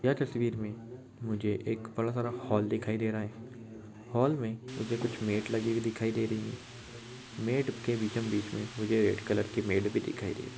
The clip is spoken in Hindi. ये तस्वीर में मुझे एक बड़ा सा हॉल दिखाई दे रहा है हॉल में मुझे कुछ मैट लगी दिखाई दे रही है मैट के बीचम बीच मे मुझे रेड कलर के मैट भी दिखाई दे रही--